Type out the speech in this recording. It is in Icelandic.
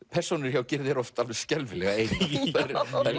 persónur hjá Gyrði eru oft alveg skelfilega einar þær